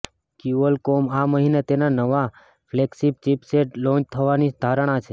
Qualcomm આ મહિને તેના નવા ફ્લેગશિપ ચિપસેટ લોન્ચ થવાની ધારણા છે